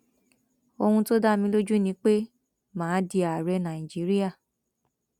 ohun tó dá mi lójú ni pé mà á di ààrẹ nàìjíríà